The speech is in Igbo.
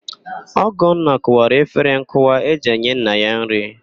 Ọgọnna kụwara efere nkụwa e ji enye nna ya nrị.